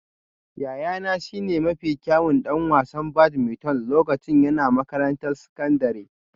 Yayana shine mafi kyawun ɗan wasan badminton lokacin yana makarantar sakandare